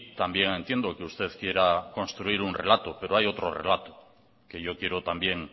también entiendo que usted quiera construir un relato pero hay otro relato que yo quiero también